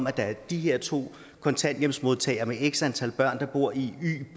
at der er de her to kontanthjælpsmodtagere med x antal børn der bor i y